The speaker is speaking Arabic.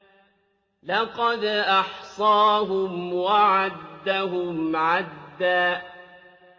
لَّقَدْ أَحْصَاهُمْ وَعَدَّهُمْ عَدًّا